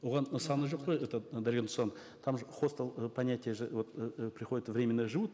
оған саны жоқ қой этот дарига нурсултановна там же хостел э понятие же вот э приходят временно живут